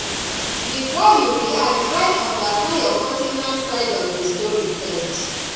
before you react try understand your co ten ant side of the story first